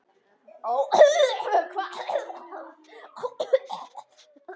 Ó hvað?